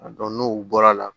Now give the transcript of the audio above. A dɔn n'o bɔra la